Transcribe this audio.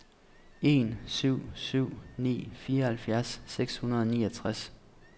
en syv syv ni fireoghalvfjerds seks hundrede og niogtres